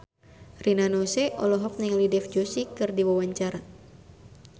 Rina Nose olohok ningali Dev Joshi keur diwawancara